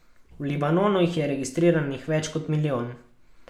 V Libanonu jih je registriranih več kot milijon.